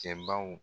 Cɛbaw